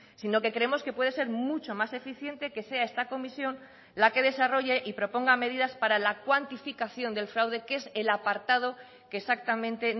sino que creemos que puede ser mucho más eficiente que sea esta comisión la que desarrolle y proponga medidas para la cuantificación del fraude que es el apartado que exactamente